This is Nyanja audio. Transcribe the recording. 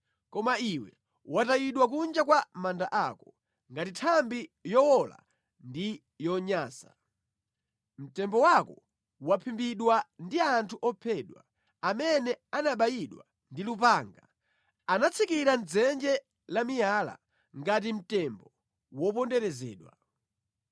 Koma iwe watayidwa kunja kwa manda ako, ngati nthambi yowola ndi yonyansa. Mtembo wako waphimbidwa ndi anthu ophedwa; amene anabayidwa ndi lupanga, anatsikira mʼdzenje lamiyala ngati mtembo woponderezedwa.